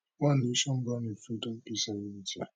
one nation bound in freedom peace and unity